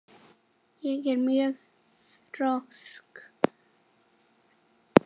Ég er mjög þrjósk.